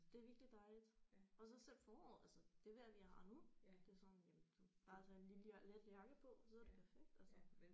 Det er virkelig dejligt og så selv foråret altså det vejr vi har nu det er sådan jamen du bare sådan en lille og let jakke på så er det perfekt altså